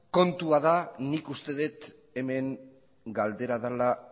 kontua da nik uste dut hemen galdera dela